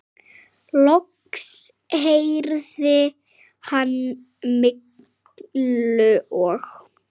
Loks heyrði hann Millu og